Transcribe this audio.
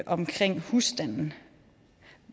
omkring husstanden